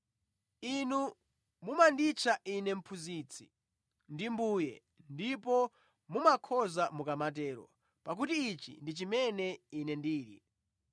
Inu mumanditcha Ine, ‘Mphunzitsi’ ndi ‘Mbuye,’ ndipo mumakhoza mukamatero, pakuti ichi ndi chimene Ine ndili.